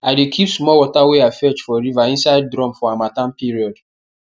i dey keep small water wey i fetch for river inside drum for harmattan period